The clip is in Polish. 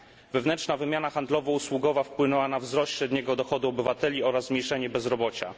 Wewnętrzna wymiana handlowo usługowa wpłynęła na wzrost średniego dochodu obywateli oraz zmniejszenie bezrobocia.